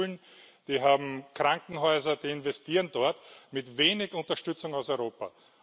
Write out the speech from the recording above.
Sie haben Schulen, sie haben Krankenhäuser, sie investieren dort mit wenig Unterstützung aus Europa.